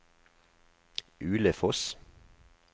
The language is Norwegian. Ulefoss